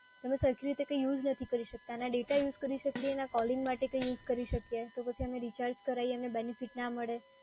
અમે સરખી રીતે કંઈ યુઝ કરી શકતા, ના ડેટા કરી શકીએ, ના કોલિંગ માટે કંઈ યુઝ કરી શકીએ, તો પછી અમે રિચાર્જ કરાઈએ અને બેનીફીટ ના મળે.